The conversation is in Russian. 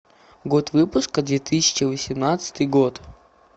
год выпуска две тысячи восемнадцатый год